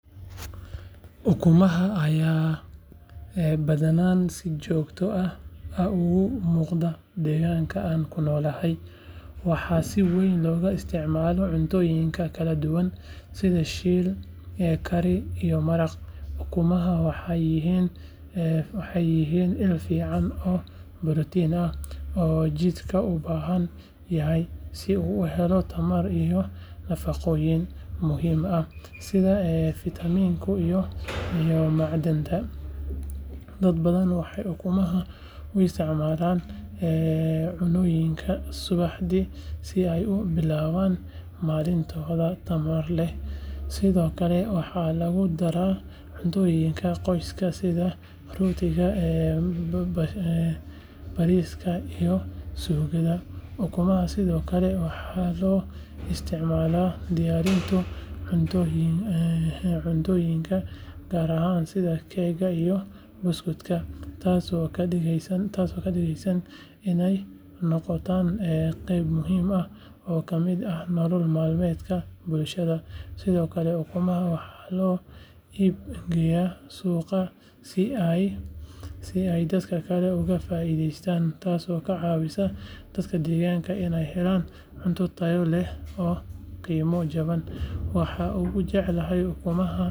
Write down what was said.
Ukumaha ayaa badanaa si joogto ah uga muuqda deegaanka aan ku noolahay waxaana si weyn looga isticmaalaa cuntooyinka kala duwan sida shiil, kari, iyo maraq. Ukumaha waxay yihiin il fiican oo borotiin ah oo jidhka u baahan yahay si uu u helo tamar iyo nafaqooyin muhiim ah sida fitamiinada iyo macdanta. Dad badan waxay ukumaha u isticmaalaan cunnooyinka subaxdii si ay u bilaabaan maalintooda tamar leh, sidoo kale waxaa lagu daraa cuntooyinka qoyska sida rootiga, bariiska, iyo suugada. Ukumaha sidoo kale waxaa loo isticmaalaa diyaarinta cuntooyinka gaarka ah sida keega iyo buskudka taasoo ka dhigaysa inay noqdaan qayb muhiim ah oo ka mid ah nolol maalmeedka bulshada. Sidoo kale ukumaha waxaa loo iib geeyaa suuqa si ay dadka kale uga faa’iidaystaan, taasoo ka caawisa dadka deegaanka inay helaan cunto tayo leh oo qiimo jaban. Waxaan ugu jeclahay ukumaha.